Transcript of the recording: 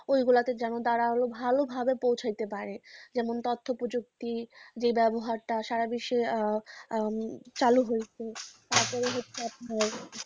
ওগুলোতে যেন তারা ভালোভাবে পৌঁছাতে পারে। যেমন তথ্যপ্রযুক্তি যে ব্যবহারটা সারা বিশ্বে চালু হয়েছে তারপরে